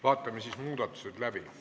Vaatame siis muudatusettepanekud läbi.